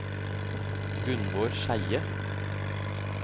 Gunvor Skeie